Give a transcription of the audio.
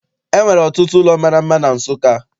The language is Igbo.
E nwere ọtụtụ ụlọ mara mma na Nsụka.